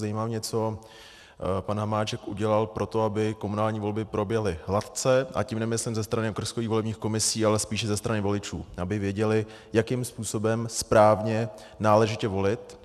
Zajímá mě, co pan Hamáček udělal pro to, aby komunální volby proběhly hladce, a tím nemyslím ze strany okrskových volebních komisí, ale spíše ze strany voličů, aby věděli, jakým způsobem správně, náležitě volit.